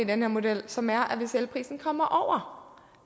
den her model som er at hvis elprisen kommer